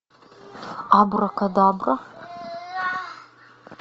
абракадабра